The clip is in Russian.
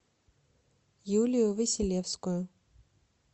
юлию василевскую